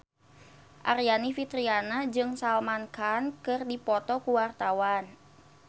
Aryani Fitriana jeung Salman Khan keur dipoto ku wartawan